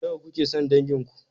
Nawa kuke son dangin ku?